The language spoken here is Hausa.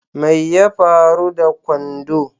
Mai ya faru da kwando?